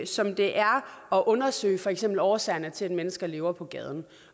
som det er at undersøge for eksempel årsagerne til at mennesker lever på gaden